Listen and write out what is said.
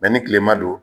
ni tilema don